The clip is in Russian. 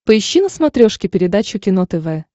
поищи на смотрешке передачу кино тв